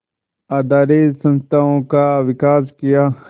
आधारित संस्थाओं का विकास किया